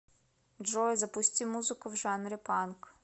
джой запусти музыку в жанре панк